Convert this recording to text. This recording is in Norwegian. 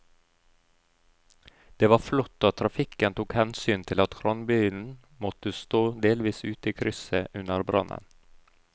Det var flott at trafikken tok hensyn til at kranbilen måtte stå delvis ute i krysset under brannen.